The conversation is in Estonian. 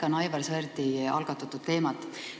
Ma jätkan Aivar Sõerdi algatatud teemal.